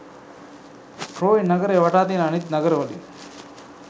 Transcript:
Troy නගරය වටා තියන අනික් නගර වලින්